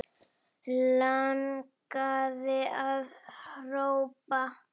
Langaði að hrópa